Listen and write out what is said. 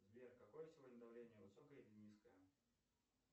сбер какое сегодня давление высокое или низкое